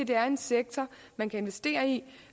det er en sektor man kan investere i